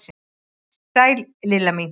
Sæl Lilla mín!